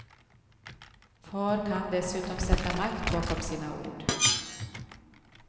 Far kan dessutom sätta makt bakom sina ord.